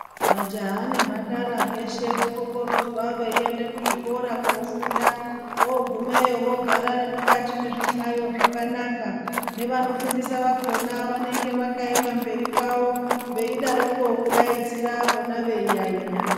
Majaha nemhandara veshe vokokorodzwa veinde kuzvikora kofunda vogumeyo vogara nemukati mezvihlayo zvakanaka. Nevanofundisa vakona vanenge vakaema mberi kwavo veidaroko kudaidzira vona veiyaiya.